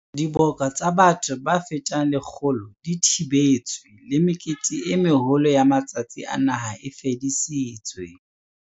Diboka tsa batho ba fetang 100 di thibetswe le mekete e meholo ya matsatsi a naha e fedisitswe.